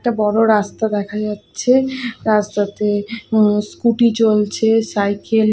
একটা বড়ো রাস্তা দেখা যাচ্ছে রাস্তাতে স্কুটি চলছে সাইকেল --